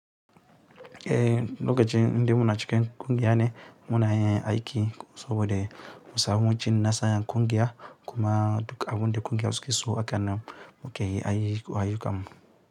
Eh, lokacin da muna cikin ƙungiya ne muna yin aiki saboda musamucin nasaran ƙungiya kuma duk abin da ƙungiya za su so akan mu ke yi a ayyukan mu.